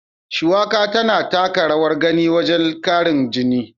Shuwaka tana taka rawar gani wajen ƙarin jini.